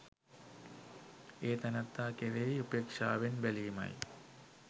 ඒ තැනැත්තා කෙරෙහි උපේක්ෂාවෙන් බැලීමයි